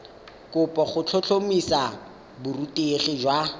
kopo go tlhotlhomisa borutegi jwa